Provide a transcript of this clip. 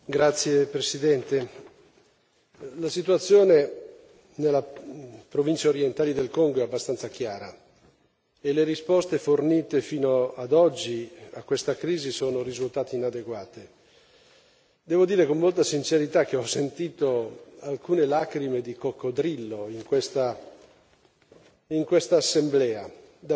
Signora Presidente, onorevoli colleghi, la situazione nella provincia orientale del Congo è abbastanza chiara e le risposte fornite fino ad oggi a questa crisi sono risultate inadeguate. Devo dire con molta sincerità che ho sentito alcune lacrime di coccodrillo in questa